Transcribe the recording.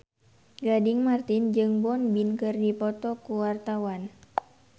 Gading Marten jeung Won Bin keur dipoto ku wartawan